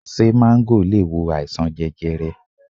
Ṣé máńgò le wo àìsàn jẹjẹrẹ?